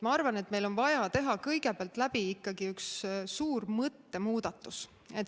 Ma arvan, et meil on vaja teha kõigepealt läbi ikkagi üks suur mõttemuudatus.